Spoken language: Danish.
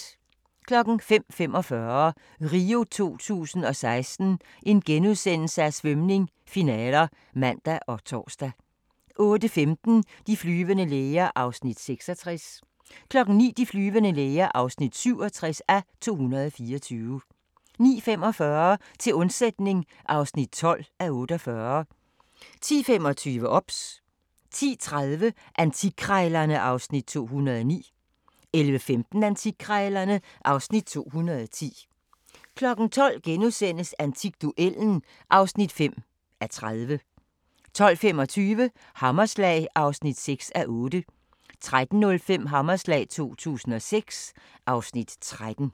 05:45: RIO 2016: Svømning, finaler *(man og tor) 08:15: De flyvende læger (66:224) 09:00: De flyvende læger (67:224) 09:45: Til undsætning (12:48) 10:25: OBS 10:30: Antikkrejlerne (Afs. 209) 11:15: Antikkrejlerne (Afs. 210) 12:00: Antikduellen (5:30)* 12:25: Hammerslag (6:8) 13:05: Hammerslag 2006 (Afs. 13)